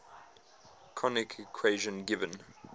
conic equation given